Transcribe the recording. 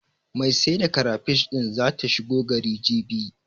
Mai sai da karafish din zata shigo gari, jibi.